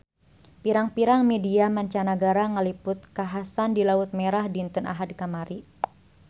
Pirang-pirang media mancanagara ngaliput kakhasan di Laut Merah dinten Ahad kamari